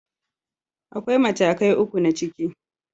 Akwai matakai uku na ciki.